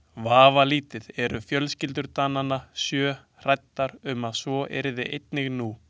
Vafalítið eru fjölskyldur Dananna sjö hræddar um að svo yrði einnig nú.